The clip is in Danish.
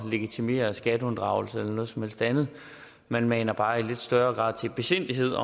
legitimere skatteunddragelse eller noget som helst andet man maner bare i lidt større grad til besindighed